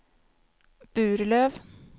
Burlöv